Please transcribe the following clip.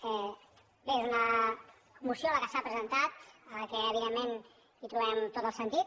bé és una moció la que s’ha presentat a la qual evidentment trobem tot el sentit